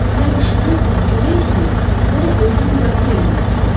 Nə qışqırıb, nə kömək istəyib, nə də özünü müdafiə eləməyə çalışıb.